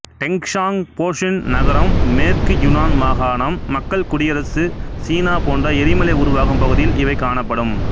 டெங்சாங் போஷ்ன் நகரம் மேற்கு யுனான் மாகாணம் மக்கள் குடியரசு சீனா போன்ற எரிமலை உருவாகும் பகுதியில் இவை காணப்படும்